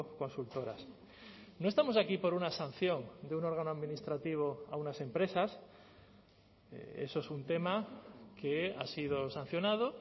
consultoras no estamos aquí por una sanción de un órgano administrativo a unas empresas eso es un tema que ha sido sancionado